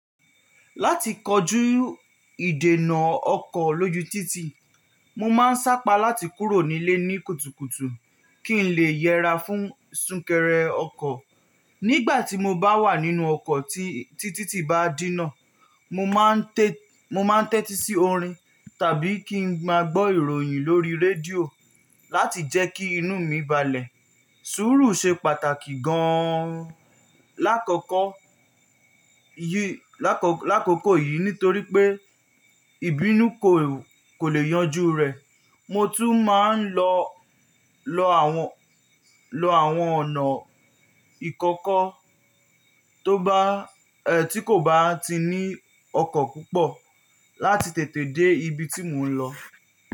Láti kojú ìdènà ọkọ̀ lójú títì, mo máa ń sápa láti kúrò nílé ní kùtùkùtù kí n lè yẹra fún súnkẹrẹ ọkọ̀. Nígbà tí mo bá wà nínú ọkọ̀ tí títì bá dínà, mo máa ń tẹ́tí sí orin tàbí kí n máa gbọ́ ìròyìn lórí rédíò láti jẹ́ kí inú mi balẹ̀. Sùúrù ṣe pàtàkì gan-an lákòókò yìí nítorí pé ìbínú kò lè yanjú rẹ̀. Mo tún máa ń do àwọn ọ̀nà ìkọ́kọ́n tó bá, ẹ́ tí kò bá ti ní ọkọ̀ púpọ̀ láti tètè dé ibi tí mò ń lọ.